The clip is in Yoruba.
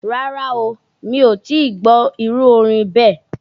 Rárá o, mi ò tí ì gbọ́ irú orin bẹ́ẹ̀.